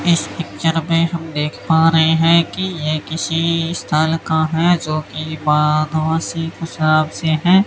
इस पिक्चर में हम देख पा रहे हैं कि ये किसी स्थल का है जो कि बाधवासी से है।